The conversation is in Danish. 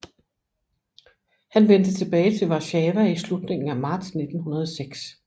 Han vendte tilbage til Warszawa i slutningen af marts 1906